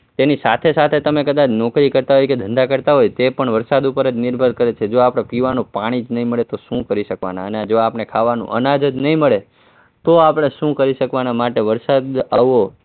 તેની સાથે સાથે તમે કદાચ નોકરી કરતા હોય કે ધંધો કરતા હોય તે પણ વરસાદ ઉપર જ નિર્ભર કરે છે, જો આપણને પીવાનું પાણી જ નહીં મળે તો આપણે શું કરી શકવાના અને જો આપણને ખાવાનું અનાજ જ નહીં મળે તો આપણે શું કરી શકવાના માટે વરસાદ આવવો